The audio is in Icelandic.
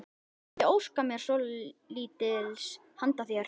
Ég mundi óska mér svolítils handa þér!